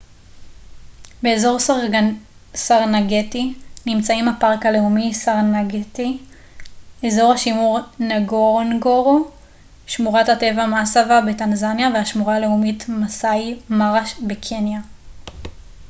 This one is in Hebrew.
באזור סרנגטי נמצאים הפארק הלאומי סרנגטי אזור השימור נגורונגורו שמורת הטבע מאסווה בטנזניה והשמורה הלאומית מאסאי מארה בקניה